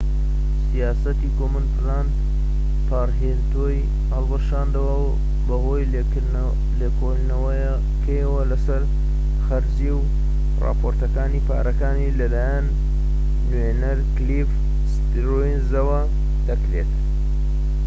سیاسەتی کۆمن پلاند پارێنتهودی هەڵوەشاندەوە بەهۆی لێکۆڵینەوەیەکەوە لەسەر خەرجی و راپۆرتەکانی پارەکانی کە لەلایەن نوێنەر کلیف ستیرنزەوە دەکرێت